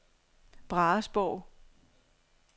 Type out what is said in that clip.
Brahesborg